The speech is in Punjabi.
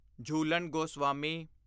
ਝੂਲਣ ਗੋਸਵਾਮੀ